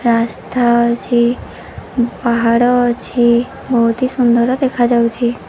ରାସ୍ତା ଅଛି। ପାହାଡ ଅଛି। ବହୁତ ସୁନ୍ଦର ଦେଖା ଯାଉଛି।